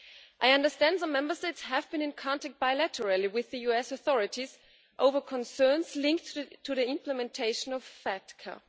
I understand some Member States have been in contact bilaterally with the US authorities over concerns linked to the implementation of FATCA.